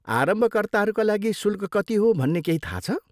आरम्भकर्ताहरूका लागि शुल्क कति हो भन्ने केही थाहा छ?